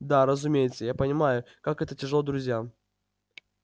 да разумеется я понимаю как это тяжело друзьям